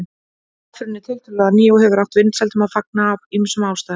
Aðferðin er tiltölulega ný og hefur átt vinsældum að fagna af ýmsum ástæðum.